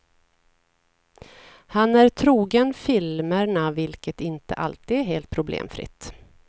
Han är trogen filmerna, vilket inte alltid är helt problemfritt.